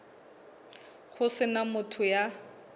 ho se na motho ya